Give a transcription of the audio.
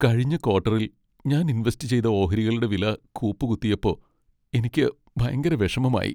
കഴിഞ്ഞ ക്വാട്ടറിൽ ഞാൻ ഇൻവെസ്റ്റ് ചെയ്ത ഓഹരികളുടെ വില കൂപ്പുകുത്തിയപ്പോ എനിക്ക് ഭയങ്കര വിഷമമായി .